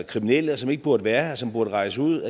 kriminelle og som ikke burde være her som burde rejse ud